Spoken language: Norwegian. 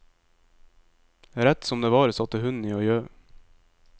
Rett som det var, satte hunden i å gjø.